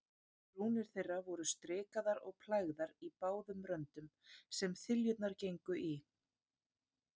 Brúnir þeirra voru strikaðar og plægðar í báðum röndum, sem þiljurnar gengu í.